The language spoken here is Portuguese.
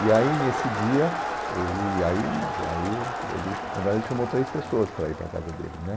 E aí, nesse dia, ele, aí, aí ele, na verdade, ele chamou três pessoas para ir para a casa dele, né?